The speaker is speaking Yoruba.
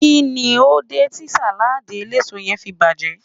kini o de ti saladi eleso yen fi baje?